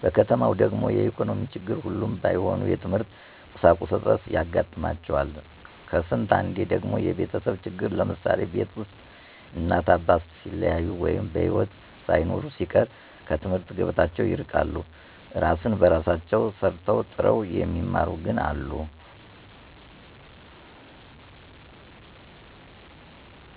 በከተማው ደግሞ የኢኮኖሚ ችግር ሁሉም ባይሆኑ የትምህርት ቁሳቁስ እጥረት ያጋጥማቸዋል ከስንት አንዴ ደግሞ የቤተሰብ ችግር ለምሳሌ፦ ቤት ውስጥ እናት አባት ሲለያዩ ወይ በሒወት ሳይኖሩ ሲቀር ከትምህርት ገበታቸው ይርቃሉ። እራስ በራሳቸው ሰርተው ጥረው የሚማሩም ግን አሉ።